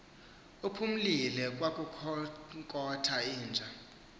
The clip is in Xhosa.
uphumile kwakukhonkotha inja